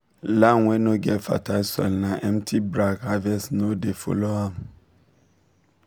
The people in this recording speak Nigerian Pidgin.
land wey no get fertile soil na empty brag harvest no dey follow am